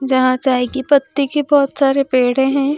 जहां चाय की पत्ती के बहुत सारे पेड़े हैं।